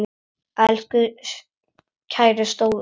Elsku kæri stóri bróðir minn.